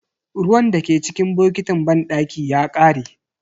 Ruwan dake cikin botikin banɗaki ya kare.